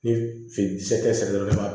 Ni sɛ tɛ sɛnɛ yɔrɔ